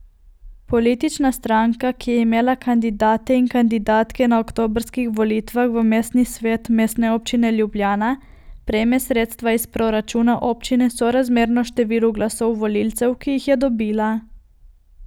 Politična stranka, ki je imela kandidate in kandidatke na oktobrskih volitvah v mestni svet Mestne občine Ljubljana, prejme sredstva iz proračuna občine sorazmerno številu glasov volivcev, ki jih je dobila.